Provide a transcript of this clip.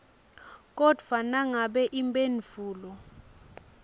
kodvwa nangabe imphendvulo